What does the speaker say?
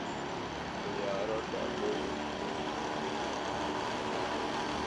ciyaaro dhacdooyinkii ugu dambeeyay ee nolosha magaalada